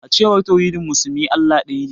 A cewar tauhidin musulmi, Allah daya ne kawai.